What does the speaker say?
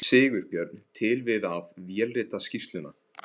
Sigurbjörn til við að vélrita skýrsluna.